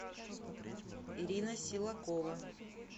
ирина силакова